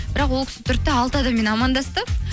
бірақ ол кісі тұрды да алты адаммен амандасты